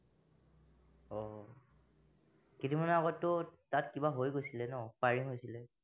আহ কেইদিন মানৰ আগতটো তাত কিবা হৈ গৈছিলে ন, firing হৈছিলে